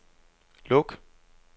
luk